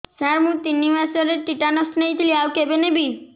ସାର ମୁ ତିନି ମାସରେ ଟିଟାନସ ନେଇଥିଲି ଆଉ କେବେ ନେବି